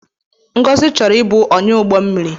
Ngozi chọrọ ịbụ ọnyá ụgbọ mmiri